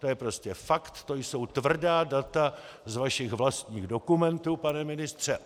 To je prostě fakt, to jsou tvrdá data z vašich vlastních dokumentů, pane ministře.